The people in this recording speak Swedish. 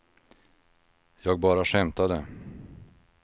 jag bara skämtade